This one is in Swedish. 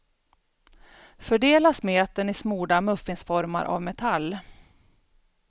Fördela smeten i smorda muffinsformar av metall.